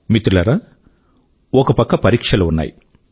మిత్రులారా ఒక పక్క పరీక్షలు ఉన్నాయి